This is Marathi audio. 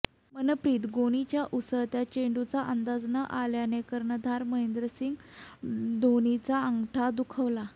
मनप्रीत गोनीच्या उसळत्या चेंडूचा अंदाज न आल्याने कर्णधार महेंद्रसिंग ढोणीचा अंगठा दुखावला